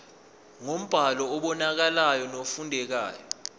ngombhalo obonakalayo nofundekayo